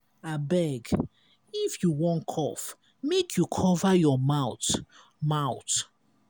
abeg if you wan cough make you cover your mouth. mouth.